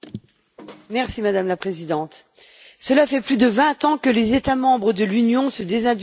Madame la Présidente, cela fait plus de vingt ans que les États membres de l'Union se désindustrialisent.